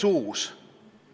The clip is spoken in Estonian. Hea juhataja!